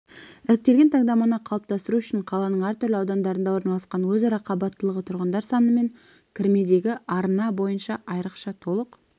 іріктелген таңдаманы қалыптастыру үшін қаланың әртүрлі аудандарында орналасқан өзара қабаттылығы тұрғындар саны мен кірмедегі арыны бойынша айрықша толық